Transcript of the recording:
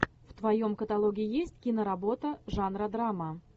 в твоем каталоге есть киноработа жанра драма